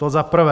To za prvé.